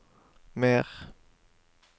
mer